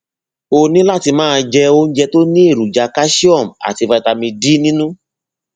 o ní láti máa jẹ oúnjẹ tó ní èròjà calcium àti vitamin d nínú